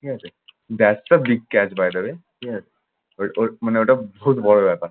ঠিক আছে। that's a big catch by the way ঠিক আছে। ওই ওই মানে ওটা বহুত বড় ব্যাপার